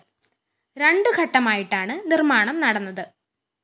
രണ്ട് ഘട്ടമായിട്ടാണ് നിര്‍മ്മാണം നടന്നത്